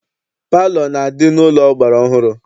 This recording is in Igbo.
Palọ na-adị n'ụlọ ọgbara ọhụrụ.